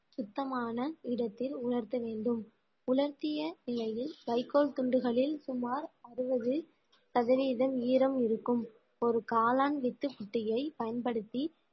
சுத்தமான இடத்தில் உலர்த்த வேண்டும் உலர்த்திய இலையில் வைக்கோல் துண்டுகளில் சுமார் அறுபது சதவீதம் ஈரம் இருக்கும் ஒரு காளான் வித்து குட்டியை பயன்படுத்தி